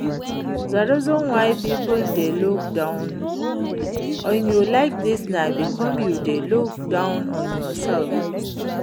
The reason wey people dey look down on you like dis na because you dey look down on yourself